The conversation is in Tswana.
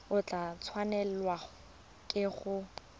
o tla tshwanelwa ke go